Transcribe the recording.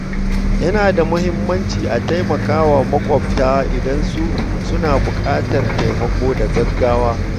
Yana da muhimmanci a tallafa wa makwabta idan suna buƙatar taimako da gaggawa.